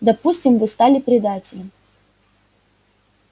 допустим что вы стали предателем